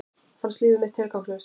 Fannst líf mitt tilgangslaust.